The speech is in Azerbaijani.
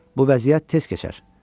Bu vəziyyət tez keçər.